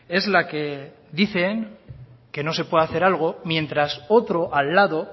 es la que dicen que no se puede hacer algo mientras otro al lado